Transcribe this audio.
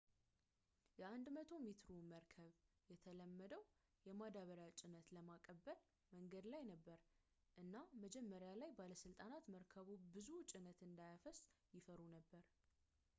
የ 100-ሜትሩ መርከብ የተለመደውን የማዳበሪያ ጭነት ለመቀበል መንገድ ላይ ነበር እና መጀመሪያ ላይ ባለስልጣናት መርከቡ ብዙ ጭነት እንዳያፈስ ይፈሩ ነበር